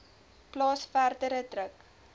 plaas verdere druk